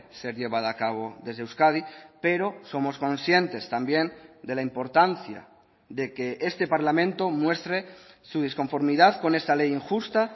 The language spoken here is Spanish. ser llevada a cabo desde euskadi pero somos conscientes también de la importancia de que este parlamento muestre su disconformidad con esta ley injusta